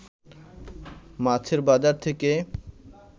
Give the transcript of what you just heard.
মাছের বাজার থেকে